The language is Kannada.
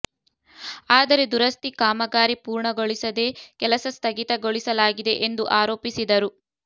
ಆದರೆ ದುರಸ್ತಿ ಕಾಮ ಗಾರಿ ಪೂರ್ಣಗೊಳಿಸದೆ ಕೆಲಸ ಸ್ಥಗಿತ ಗೊಳಿಸಲಾಗಿದೆ ಎಂದು ಆರೋಪಿಸಿದರು